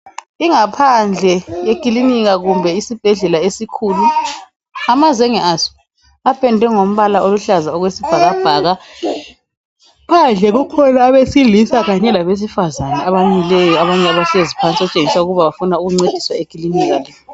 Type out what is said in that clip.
Ingaphandle yekilinika kumbe isibhedlela esikhulu amazenge aso apendwe ngombala oluhlaza okwesibhakabhaka phandle kukhona abesilisa kanye labesifazana abamileyo abanye bahlezi phansi okutshengisa ukuba bafuna ukuncediswa ekilinika.